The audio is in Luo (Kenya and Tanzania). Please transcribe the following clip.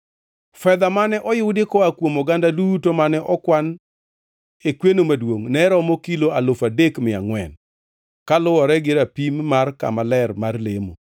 Fedha mane oyudi koa kuom oganda duto mane okwan e kweno maduongʼ ne romo kilo alufu adek mia angʼwen (3,400) kaluwore gi rapim mar kama ler mar lemo,